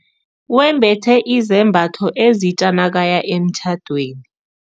Wembethe izambatho ezitja nakaya emtjhadweni.